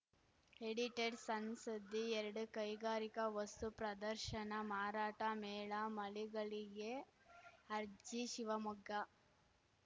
edited ಸಣ್‌ ಸುದ್ದಿ ಎರಡು ಕೈಗಾರಿಕಾ ವಸ್ತು ಪ್ರದರ್ಶನ ಮಾರಾಟ ಮೇಳ ಮಳಿಗಳಿಗೆ ಅರ್ಜಿ ಶಿವಮೊಗ್ಗ